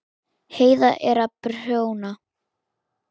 Heiða er að prjóna.